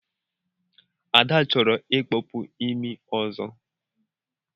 Ada chọrọ ikpọpu imi ọzọ.